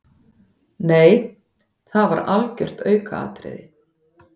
Nei það var algjört aukaatriði.